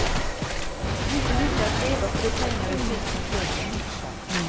Inte gick det att leva på de pengar vi fick från klubben.